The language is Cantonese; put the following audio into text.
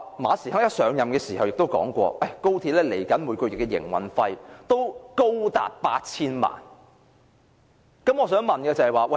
馬時亨甫上任時說過，高鐵每月的營運費高達 8,000 萬元。